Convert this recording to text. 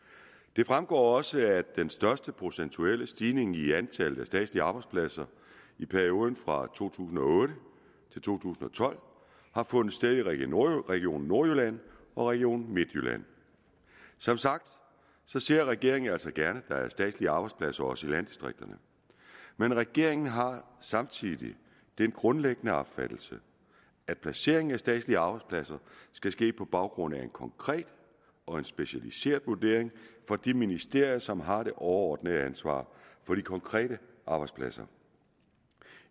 det fremgår også at den største procentuelle stigning i antallet af statslige arbejdspladser i perioden fra to tusind og otte til to tusind og tolv har fundet sted i region region nordjylland og region midtjylland som sagt ser regeringen altså gerne at der er statslige arbejdspladser også i landdistrikterne men regeringen har samtidig den grundlæggende opfattelse at placeringen af statslige arbejdspladser skal ske på baggrund af en konkret og specialiseret vurdering fra de ministerier som har det overordnede ansvar for de konkrete arbejdspladser